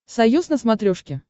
союз на смотрешке